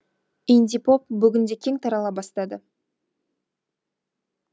инди поп бүгінде кең тарала бастады